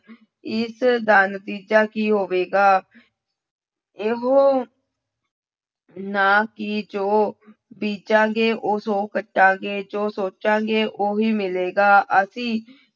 ਇਸ ਦਾ ਨਤੀਜਾ ਕੀ ਹੋਵੇਗਾ ਇਹੋ ਨਾ ਕਿ ਜੋ ਬੀਜਾਂਗੇ ਉਹ ਕੱਟਾਂਗੇ, ਜੋ ਸੋਚਾਂਗੇ ਉਹੀ ਮਿਲੇਗਾ ਅਸੀਂ